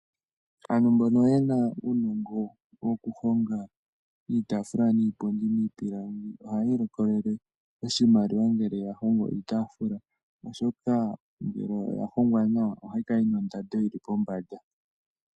Aantu mbono ye na uunongo wokuhonga iitaafula niipundi miipilangi ohayi ilikolele oshimaliwa ngele ya hongo iitaafula, oshoka ngele oya hongwa nawa ohayi kala yi na ondando yi li pombanda.